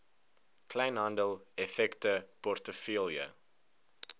kleinhandel effekte portefeulje